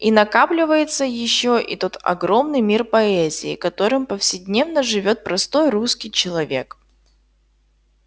и накапливается ещё и тот огромный мир поэзии которым повседневно живёт простой русский человек